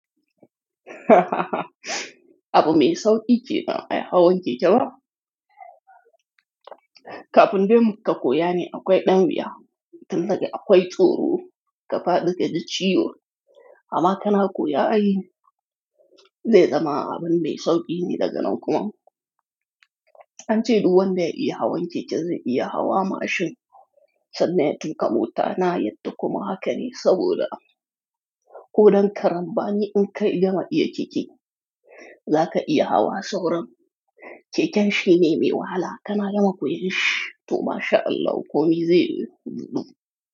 Abu mai sauƙi ce ma iya hawan keke ba? Kafin dai mu ka koya ne akwai ɗan wuya, tun daga akwai tsoro, ka faɗi ka ji ciwo. Amma kana koya a yi, zai zama abin mai sauƙi ne daga nan kuma. An ce duk wanda ya iya hawan keke zai iya hawa mashin. Sannan ya tuka motu na yadda, kuma haka ne saboda kodan karen bani in ka gama iya keke, za ka iya hawa sauran. Keken shi ne mai wahala, kana yana koyon shi to mashAllah ko mi zai yiwu huɗuɗu.